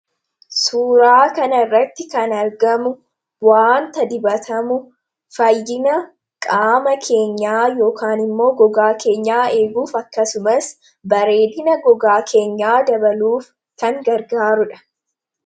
suuraa kan irratti kan argamu waanta dibatamu fayyina qaama keenyaa yknimmoo gogaa keenyaa eeguuf akkasumas bareedina gogaa keenyaa dabaluuf kan gargaaruudha